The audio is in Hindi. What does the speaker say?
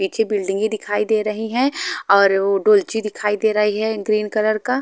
पीछे बिल्डिंगे दिखाई दे रही है और डुलची दिखाई दे रही है ग्रीन कलर का--